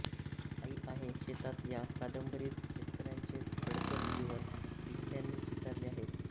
आई आहे शेतात या कादंबरीत शेतकऱ्यांचे खडतर जीवन दिघ्यांनी चितारले आहे